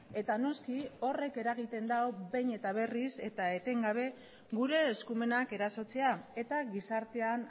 eta noski horrek eragiten dau behin eta berriz eta etengabe gure eskumenak erasotzea eta gizartean